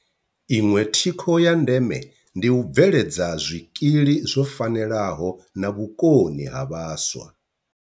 Iṅwe thikho ya ndeme ndi u bveledza zwikili zwo fanelaho na vhukoni ha vhaswa.